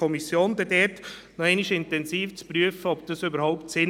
FiKo: Nein; zusätzlicher Sparbeitrag von 3 Prozent PK: Nein;